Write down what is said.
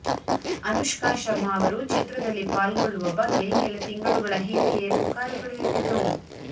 ಅನುಷ್ಕಾ ಶರ್ಮಾ ಅವರು ಚಿತ್ರದಲ್ಲಿ ಪಾಲ್ಗೊಳ್ಳುವ ಬಗ್ಗೆ ಕೆಲ ತಿಂಗಳುಗಳ ಹಿಂದೆಯೇ ಪುಕಾರುಗಳು ಎದ್ದಿದ್ದವು